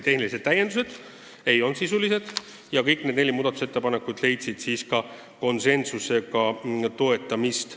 Tehnilised parandused ei olnud sisulised ja kõik need neli muudatusettepanekut leidsid konsensusega toetamist.